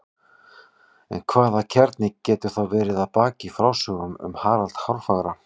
En hvaða kjarni getur þá verið að baki frásögnum um Harald hárfagra?